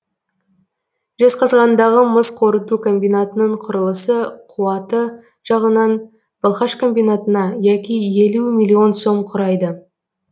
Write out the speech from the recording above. жезқазғандағы мыс қорыту комбинатының кұрылысы қуаты жағынан балқаш комбинатына яки елу миллион сом құрайды